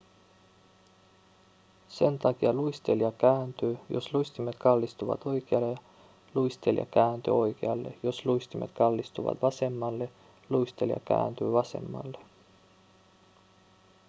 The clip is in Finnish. sen takia luistelija kääntyy jos luistimet kallistuvat oikealle luistelija kääntyy oikealle jos luistimet kallistuvat vasemmalle luistelija kääntyy vasemmalle